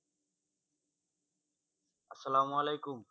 আসালাম ওয়ালিকুম।